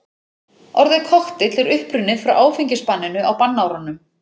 Orðið kokteill er upprunnið frá áfengisbanninu á bannárunum.